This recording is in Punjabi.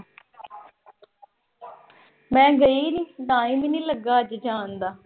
ਮੈਂ ਗਈ ਨੀਂ। ਟਾਈਮ ਈ ਨੀਂ ਲੱਗਾ ਅੱਜ ਜਾਣ ਦਾ।